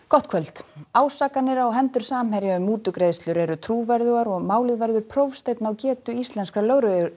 gott kvöld ásakanir á hendur Samherja um mútugreiðslur eru trúverðugar og málið verður prófsteinn á getu íslenskra